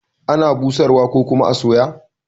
Ana busar wa ko kuma a soya.